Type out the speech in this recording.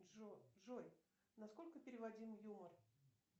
джой на сколько переводим юмор